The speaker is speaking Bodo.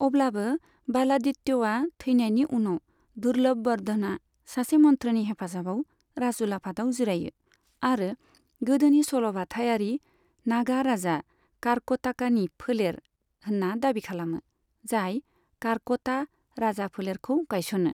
अब्लाबो, बालादित्यआ थैनायनि उनाव, दुर्लभबर्धनआ सासे मन्थ्रिनि हेफाजाबाव राजउलाफादआव जिरायो, आरो गोदोनि सल'बाथायारि नागा राजा कारक'टाकानि फोलेर होनना दाबि खालामो, जाय कारक'टा राजाफोलेरखौ गायसनो।